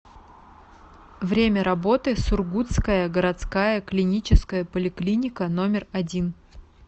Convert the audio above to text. время работы сургутская городская клиническая поликлиника номер один